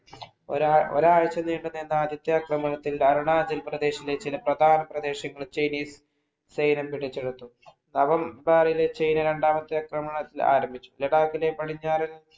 ഒരാഴ്ച നീണ്ടുനിന്ന ആദ്യത്തെ ആക്രമണത്തിൽ അരുണാചൽപ്രദേശിലെ ചില പ്രധാന പ്രദേശങ്ങളും, ചേരിയും സൈന്യം പിടിച്ചെടുത്തു. November ഇല് ചൈന രണ്ടാമത്തെ അക്രമണം ആരംഭിച്ചു. ലഡാക്കിലെ പടിഞ്ഞാറൻ